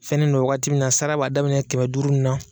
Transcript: Fɛnnen do wagati min na sara b'a daminɛ kɛmɛ duuru na